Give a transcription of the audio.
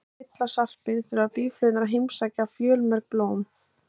Til að fylla sarpinn þurfa býflugurnar að heimsækja fjölmörg blóm.